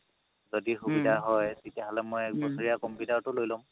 যদি সুবিধা হয় তেতিয়াহ'লে মই এবছৰীয়া computer টো লৈ লম